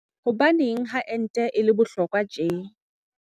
Hobaneng ha ente e le bohlokwa tje?